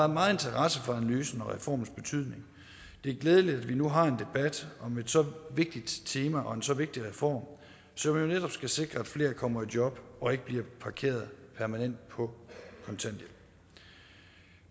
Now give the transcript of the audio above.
meget interesse for analysen og reformens betydning det er glædeligt at vi nu har en debat om et så vigtigt tema og en så vigtig reform som jo netop skal sikre at flere kommer i job og ikke bliver parkeret permanent på kontanthjælp